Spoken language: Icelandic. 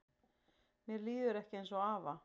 Mér líður ekki eins og afa